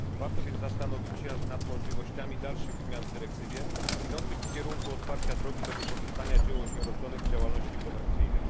Warto więc zastanowić się nad możliwościami dalszych zmian w dyrektywie, idących w kierunku otwarcia drogi do wykorzystania dzieł osieroconych w działalności komercyjnej.